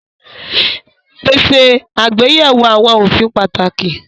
Pèsè àgbéyẹ̀wò àwọn òfin pàtàkì